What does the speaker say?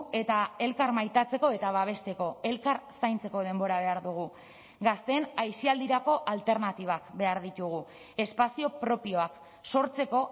eta elkar maitatzeko eta babesteko elkar zaintzeko denbora behar dugu gazteen aisialdirako alternatibak behar ditugu espazio propioak sortzeko